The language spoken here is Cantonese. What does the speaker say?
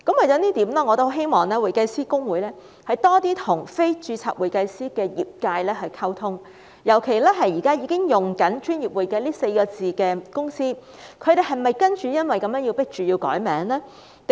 就此，我希望公會多些與非註冊會計師的業界溝通，尤其現時已經使用"專業會計"這4個字的公司，他們是否因而被迫要更改名稱呢？